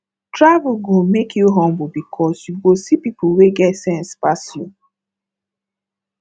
travel go make you humble because you go see people wey get sense pass you